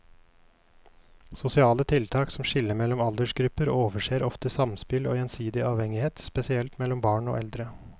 Sosiale tiltak som skiller mellom aldersgrupper overser ofte samspill og gjensidig avhengighet, spesielt mellom barn og eldre.